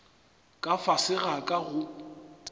ka fase ga ka go